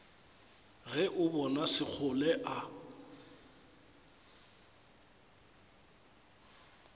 ge o bona sekgole a